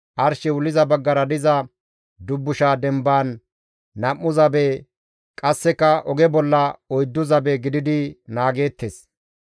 arshey wulliza baggara diza dubbusha demban nam7u zabe qasseka oge bolla oyddu zabe gididi naageettes.